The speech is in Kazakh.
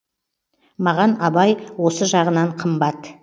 маған абай осы жағынан қымбат